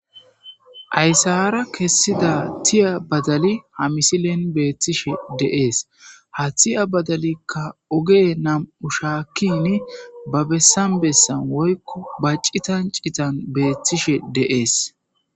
Aysara kessida tiya badali ha misilen beetishe de'ees. Ha tiya badalika ove nam'un shaakin ba bessan bessan woyko ba citan citan beetishe de'ees.